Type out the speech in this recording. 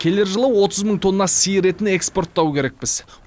келер жылы отыз мың тонна сиыр етін экспорттау керекпіз